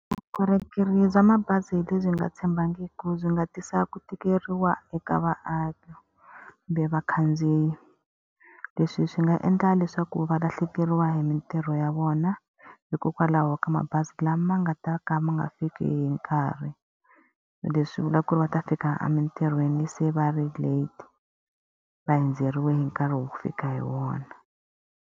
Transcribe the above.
Vukorhokeri bya mabazi lebyi nga tshembekiki byi nga tisa ku tikeriwa eka vaaki, kumbe vakhandziyi. Leswi swi nga endla leswaku va lahlekeriwa hi mintirho ya vona hikokwalaho ka mabazi lama nga ta ka ma nga fiki hi nkarhi. Leswi vulaka ku ri va ta fika emitirhweni se va ri late, va hundzeriwe hi nkarhi wo fika hi wona.